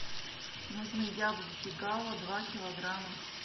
нужны яблоки гала два килограмма